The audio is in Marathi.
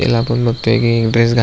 त्याला आपण बगतो कि ड्रेस घा --